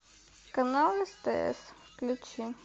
канал стс включи